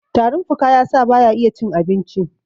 tarin fuka ya sa ba ya iya cin abinci!